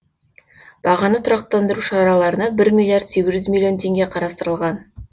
бағаны тұрақтандыру шараларына бір миллиард сегіз жүз миллион теңге қарастырылған